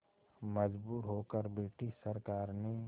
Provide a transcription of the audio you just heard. मजबूर होकर ब्रिटिश सरकार ने